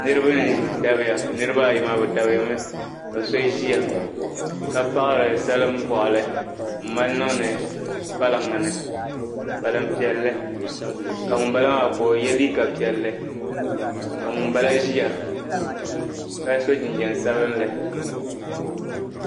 niriba n-dabiya niriba ayi maa bɛ dabiya mi ka so ʒia ka paɣiri salim'bɔɣili m-mali niŋdi kpalaŋ nii kpalaŋ piɛlli ka ŋun m-bala maa ka o ye liiga piɛlli ka ŋun m-bala ʒia ka so jinjiɛm sabinlli